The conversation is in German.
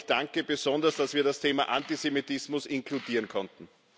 Aber ich danke besonders, dass wir das Thema Antisemitismus inkludieren konnten.